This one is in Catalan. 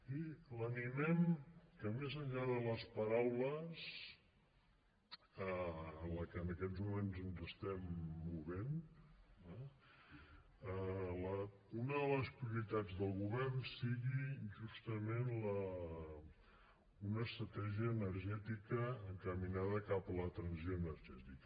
i l’animem que més enllà de les paraules en les que en aquests moments ens estem movent una de les prioritats del govern sigui justament una estratègia energètica encaminada cap a la transició energètica